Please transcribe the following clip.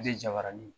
De jabaranin